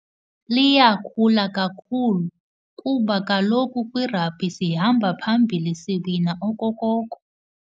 Liyakhula kakhulu kuba kaloku kwi-rugby sihamba phambili, siwina okokoko.